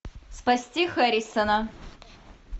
спасти хэррисона